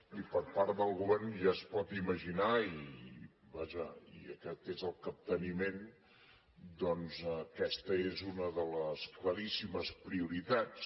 i per part del govern ja es pot imaginar i vaja aquest és el capteniment doncs aquesta és una de les claríssimes prioritats